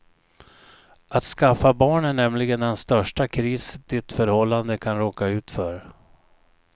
Att skaffa barn är nämligen den största kris ditt förhållande kan råka ut för.